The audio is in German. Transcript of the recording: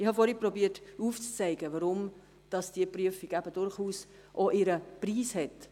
Ich habe vorher aufzuzeigen versucht, weshalb die Prüfung ihren Preis hat.